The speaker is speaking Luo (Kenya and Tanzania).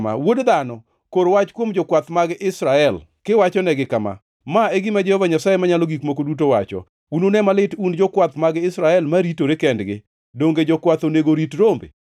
“Wuod dhano, kor wach kuom jokwath mag Israel, kiwachonegi kama: ‘Ma e gima Jehova Nyasaye Manyalo Gik Moko Duto wacho: Unune malit un jokwath mag Israel ma ritore kendgi! Donge jokwath onego orit rombe?